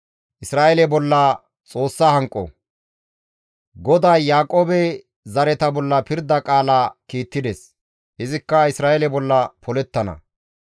GODAY Yaaqoobe zareta bolla pirda qaala kiittides; izikka Isra7eele bolla polettana.